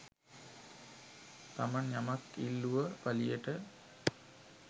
තමන් යමක් ඉල්ලුව පළියට